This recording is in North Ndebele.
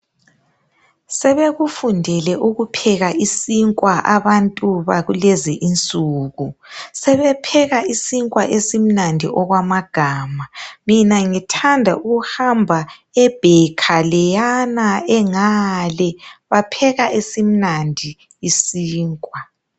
Sebekufundele ukupheka isinkwa abantu bakulezi insuku, sebepheka isinkwa esimnandi okwamagama, mina ngithanda ukuhamba ebaker leyana engale ,bapheka esimnandi isinkwa.